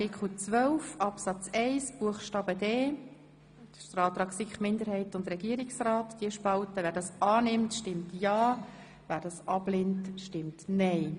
Wer den Antrag der SiK-Mehrheit und Regierungsrat zu Artikel 12 Absatz 1 Buchstabe d annimmt, stimmt ja, wer dies ablehnt, stimmt nein.